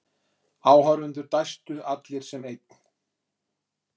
Áhorfendur dæstu allir sem einn.